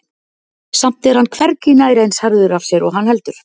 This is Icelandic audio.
Samt er hann hvergi nærri eins harður af sér og hann heldur.